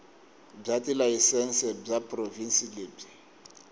bya tilayisense bya provhinsi lebyi